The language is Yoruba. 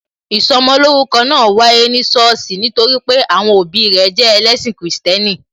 Ìsọmolórúkọ náà wáyé ní sọ́ọ̀sì nítorí pé àwọn òbí rẹ jẹ ẹlẹ́ṣin Kristẹni